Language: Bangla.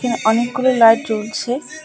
এখানে অনেকগুলো লাইট জ্বলছে।